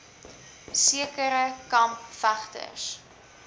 sekere kamp vegters